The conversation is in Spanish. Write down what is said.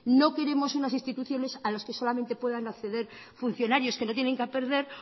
no queremos unas instituciones a las que solamente puedan acceder funcionarios que no tienen qué perder